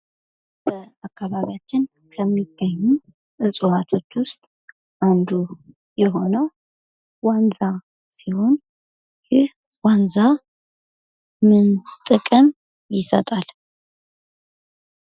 በአከባቢያችን ከሚገኙት እዋቶች ውስጥ አንዱ የሆነው ዋንዛ ሲሆን ይህ ዋንዛ ምን ጥቅም ይሰጣል?